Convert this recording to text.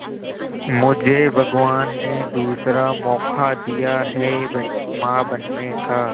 मुझे भगवान ने दूसरा मौका दिया है मां बनने का